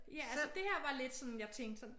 Ja altså det her var lidt sådan jeg tænkte sådan